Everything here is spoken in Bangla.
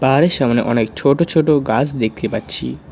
পাহাড়ের সামনে অনেক ছোটো ছোটো গাছ দেখতে পাচ্ছি।